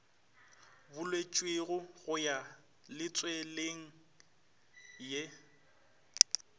buletšwego go ya letsweleng ye